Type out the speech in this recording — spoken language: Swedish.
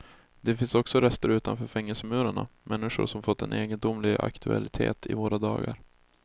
Det finns också rester utanför fängelsemurarna, människor som fått en egendomlig aktualitet i våra dagar.